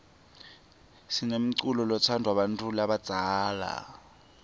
sinemculo lotsndvwa bantfu labadzala